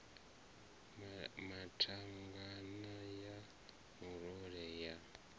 na thangana ya murole ya